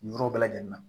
Nin yɔrɔ bɛɛ lajɛlen na